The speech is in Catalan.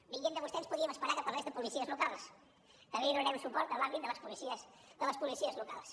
venint de vostè ens podíem esperar que parlés de policies locals també li donarem suport en l’àmbit de les policies locals